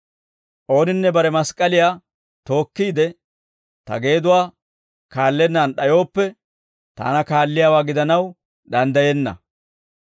Ooninne bare mask'k'aliyaa tookkiide, ta geeduwaa kaallennaan d'ayooppe, taana kaalliyaawaa gidanaw danddayenna.